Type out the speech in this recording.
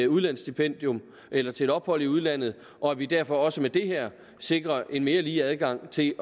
udlandsstipendium eller til et ophold i udlandet og at vi derfor også med det her sikrer en mere lige adgang til